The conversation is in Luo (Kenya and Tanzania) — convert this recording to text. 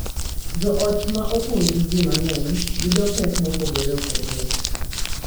Jo ot ma opong’ gi ji mang’eny yudo pek mopogore opogore